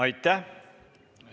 Aitäh!